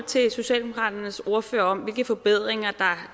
til socialdemokraternes ordfører om hvilke forbedringer